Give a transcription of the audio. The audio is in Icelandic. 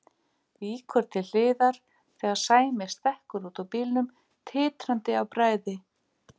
Víkur til hliðar þegar Sæmi stekkur út úr bílnum, titrandi af bræði.